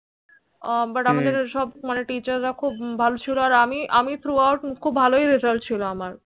But মাদের তো সব Teacher রা খুব ভালো ছিল আর আমি আমি Throughtout খুব ভালোই result ছিল আমার